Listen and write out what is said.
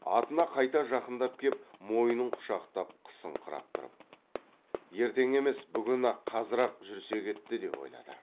атына қайта жақындап кеп мойнын құшақтап қысыңқырап тұрып ертең емес бүгін ақ қазір ақ жүрсек етті деп ойлады